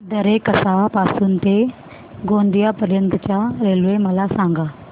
दरेकसा पासून ते गोंदिया पर्यंत च्या रेल्वे मला सांगा